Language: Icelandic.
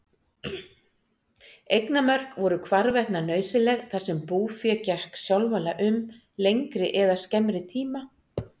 Eignarmörk voru hvarvetna nauðsynleg þar sem búfé gekk sjálfala um lengri eða skemmri tíma.